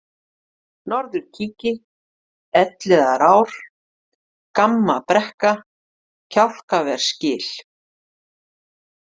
Norðurkiki, Elliðaár, Gammabrekka, Kjálkaversgil